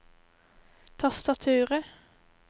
tastaturet